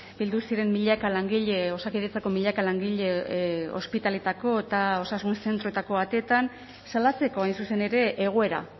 bildu ziren milaka langile osakidetzako milaka langile ospitaletako eta osasun zentroetako ateetan salatzeko hain zuzen ere egoera